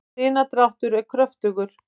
sinadráttur er kröftugur